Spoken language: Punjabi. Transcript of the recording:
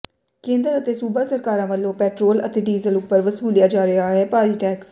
ਕੇਂਦਰ ਅਤੇ ਸੂਬਾ ਸਰਕਾਰਾਂ ਵੱਲੋਂ ਪੈਟਰੋਲ ਅਤੇ ਡੀਜ਼ਲ ਉਪਰ ਵਸੂਲਿਆ ਜਾ ਰਿਹਾ ਹੈ ਭਾਰੀ ਟੈਕਸ